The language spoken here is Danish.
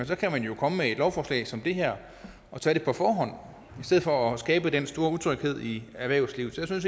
så kan man jo komme med et lovforslag som det her og tage det på forhånd i stedet for at skabe en stor utryghed i erhvervslivet jeg synes